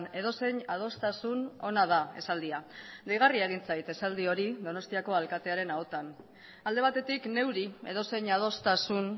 edozein adostasun ona da esaldia deigarria egin zait esaldi hori donostiako alkatearen ahotan alde batetik neuri edozein adostasun